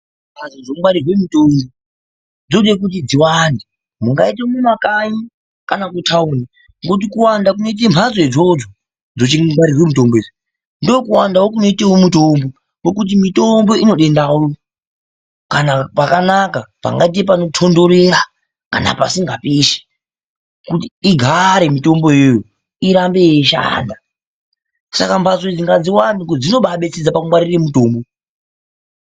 Mbatso dzinongwarirwe mutombo dzinode kuti dziwande mungaite mumakanyi kana kutandi ngokuti kuwanda kunoite mbatso idzo dzokungwarire mutombo ndokuwandawo kunoite mutombo ngokuti mitombo inode ndau kana pakanaka pakaite panotondorera kana pasinga pishi kuti igare mitombo iyoyo irambe yeishanda saka mbatso idzo ngadziwande ngokuti dzinobabetseredze pakungwarira mitombo.